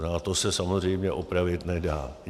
A to se samozřejmě opravit nedá.